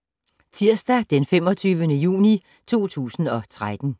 Tirsdag d. 25. juni 2013